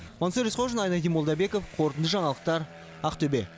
мансұр есқожин айнадин молдабеков қорытынды жаңалықтар ақтөбе